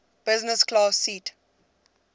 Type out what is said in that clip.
business class seat